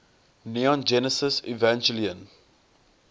neon genesis evangelion